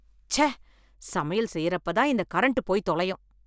ச்சே. சமையல் செய்யறப்பதான் இந்த கரண்ட் போய் தொலையும்.